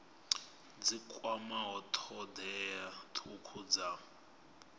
dzi kwamaho thodea thukhu dza